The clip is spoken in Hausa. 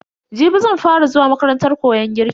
Jibi zan fa ra zuwa makarantar koyon girki.